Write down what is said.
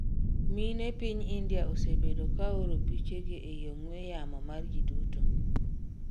Mine piny India osebedo ka ooro pichegi ei ong'we yamo mar jiduto